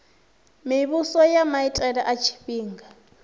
muvhuso ya maitele a tshifhinga